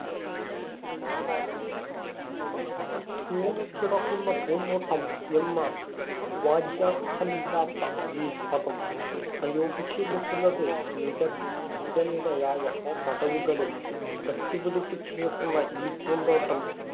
തൂങ്ങികിടക്കുന്ന പൂന്തോട്ടം എന്ന വാച്യാര്‍ത്ഥമില്ലാത്ത ഈ പദം പ്രയോഗിച്ചിരിക്കുന്നത്. നിരനിരയായ പടവുകളിൽ വച്ചു പിടിപ്പിച്ചിരിക്കുന്ന ഈ പൂന്തോട്ടം